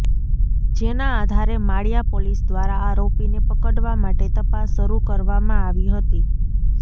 જેના આધારે માળીયા પોલીસ દ્વારા આરોપીને પકડવા માટે તપાસ શરૂ કરવામાં આવી હતી